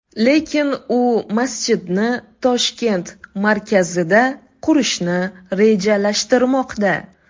Lekin u masjidni Toshkent markazida qurishni rejalashtirmoqda.